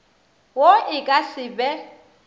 wo e ka se be